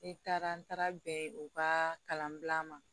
Ne taara n taara bɛn u ka kalanbila ma